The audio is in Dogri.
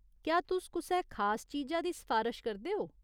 क्या तुस कुसै खास चीजा दी सफारश करदे ओ ?